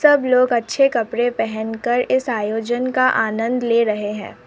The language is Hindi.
सब लोग अच्छे कपड़े पहन कर इस आयोजन का आनंद ले रहे हैं।